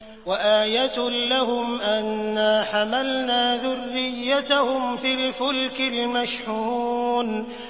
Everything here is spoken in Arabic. وَآيَةٌ لَّهُمْ أَنَّا حَمَلْنَا ذُرِّيَّتَهُمْ فِي الْفُلْكِ الْمَشْحُونِ